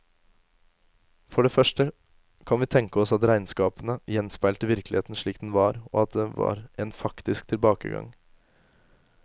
For det første kan vi tenke oss at regnskapene gjenspeilte virkeligheten slik den var, og at det var en faktisk tilbakegang.